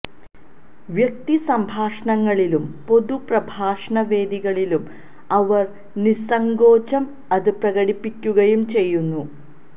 വ്യക്തി സംഭാഷണങ്ങളിലും പൊതു പ്രഭാഷണ വേദികളിലും അവര് നിസ്സങ്കോചം അത് പ്രകടിപ്പിക്കുകയുംചെയ്യുന്നു